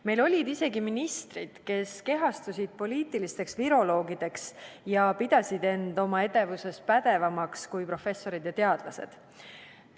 Meil olid isegi ministrid, kes kehastusid poliitilisteks viroloogideks ja pidasid end oma edevuses pädevamaks kui professorid ja teadlased.